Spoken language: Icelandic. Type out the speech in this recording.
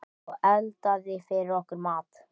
Og eldaði fyrir okkur mat.